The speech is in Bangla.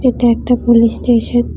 এটা একটা পুলিশ স্টেশন ।